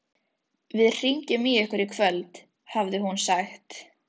Við hringjum í ykkur í kvöld hafði hún sagt.